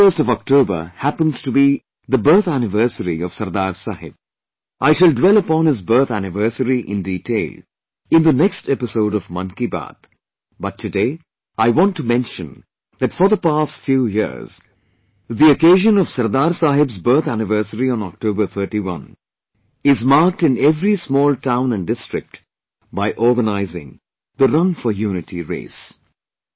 31 October happens to be the birth anniversary of Sardar sahib, I shall dwell upon his birth anniversary in detail in the next episode of Mann Ki Baat but today I want to mention that for the past few years, the occasion of Sardar Sahib's birth anniversary on October 31 is marked in every small town and district by organizing the 'Run for Unity' race